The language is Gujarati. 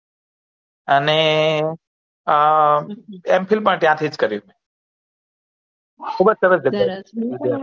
અને આ M. Phil માં ત્યાં હતી કર્યું